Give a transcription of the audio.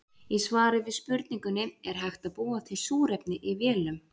Í svari við spurningunni Er hægt að búa til súrefni í vélum?